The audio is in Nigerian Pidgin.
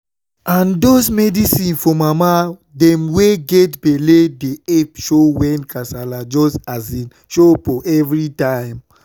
ah those medicine for mama dem wey get belle dey epp show wen kasala just um show for everytime